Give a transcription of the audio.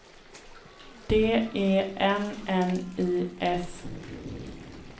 D E N N I S